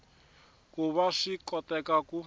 ku va swi koteka ku